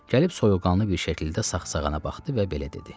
Gəlib soyuqqanlı bir şəkildə saxsağana baxdı və belə dedi: